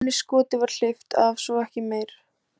Einu skoti var hleypt af, svo ekki meir.